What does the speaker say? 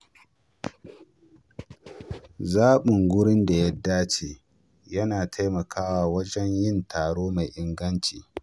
Zaɓin wurin da ya dace yana taimakawa wajen yin taro mai inganci.